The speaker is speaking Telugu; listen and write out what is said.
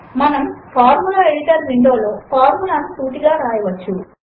మనము ఫార్ములా ఎడిటర్ విండో లో ఫార్ములా ను సూటిగా వ్రాయవచ్చు